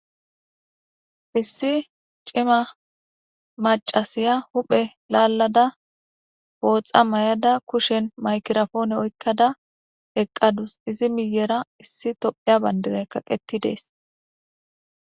iIsi cima macasiya huphe laallada booxa mayada kushen maykirafoone oykkada eqqadus izi miyera issi topheya bandire kaqetti dees.